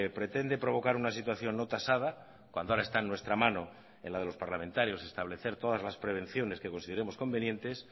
pretende provocar una situación no tasada cuando ahora está en nuestra mano en la de los parlamentarios establecer todas las prevenciones que consideremos convenientes